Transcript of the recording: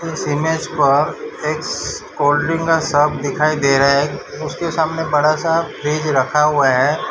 इस इमेज पर एक स कोल्ड ड्रिंक का शॉप दिखाई दे रहा है उसके सामने बड़ा सा फ्रिज रखा हुआ है।